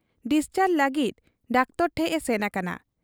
Discharge ᱞᱟᱹᱜᱤᱫ doctor ᱴᱷᱮᱫ ᱮ ᱥᱮᱱ ᱟᱠᱟᱱᱟ ᱾